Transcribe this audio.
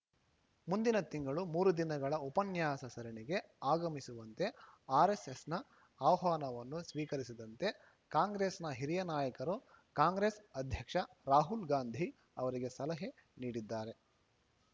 ಮುಂದಿನ ತಿಂಗಳು ಮೂರು ದಿನಗಳ ಉಪನ್ಯಾಸ ಸರಣಿಗೆ ಆಗಮಿಸುವಂತೆ ಆರ್‌ಎಸ್‌ಎಸ್‌ನ ಆಹ್ವಾನವನ್ನು ಸ್ವೀಕರಿಸದಂತೆ ಕಾಂಗ್ರೆಸ್‌ನ ಹಿರಿಯ ನಾಯಕರು ಕಾಂಗ್ರೆಸ್‌ ಅಧ್ಯಕ್ಷ ರಾಹುಲ್‌ ಗಾಂಧಿ ಅವರಿಗೆ ಸಲಹೆ ನೀಡಿದ್ದಾರೆ